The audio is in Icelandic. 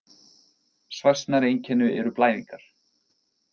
Svæsnari einkenni eru blæðingar.